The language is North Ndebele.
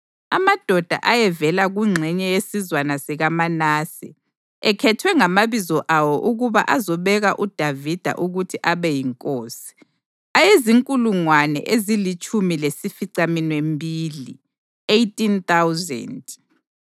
amadoda ayevela kungxenye yesizwana sikaManase, ekhethwe ngamabizo awo ukuba azobeka uDavida ukuthi abe yinkosi, ayezinkulungwane ezilitshumi lesificaminwembili (18,000);